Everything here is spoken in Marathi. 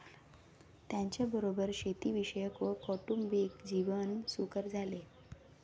त्यांच्याबरोबर शेती विषयक व कौटुंबिक जीवन सुकर झाले